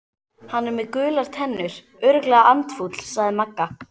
Hann er með gular tennur, örugglega andfúll sagði Magga.